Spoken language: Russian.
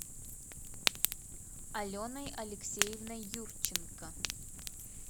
аленой алексеевной юрченко